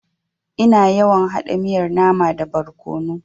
Ina yawan haɗa miyar nama da barkono.